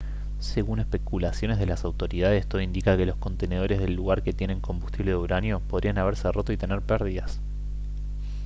según especulaciones de las autoridades todo indica que los contenedores del lugar que tienen combustible de uranio podrían haberse roto y tener pérdidas